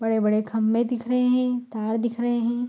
बड़े-बड़े खंभे दिख रहे हैं तार दिख रहे है।